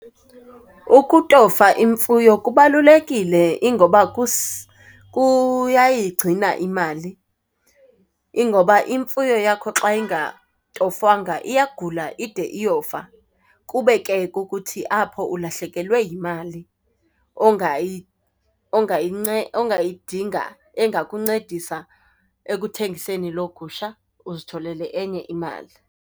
Ukutofa imfuyo kubalulekile ingoba kuyayigcina imali. Ingoba imfuyo yakho xa ingatofwangwa iyagula ide iyofa kube ke kukuthi ke apho ulahlekelwe yimali ongayidinga, engakuncedisa ekuthengiseni loo gusha uzitholele enye imali.